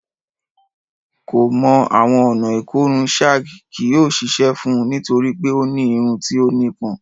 Ko mọ awọn ọna ikorun shag kii yoo ṣiṣẹ fun u nitori pe o ni irun ti o nipọn